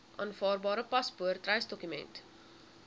aanvaarbare paspoort reisdokument